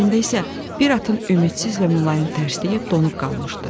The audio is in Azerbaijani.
Gözlərində isə bir atın ümidsiz və mülayim tərsliyi donub qalmışdı.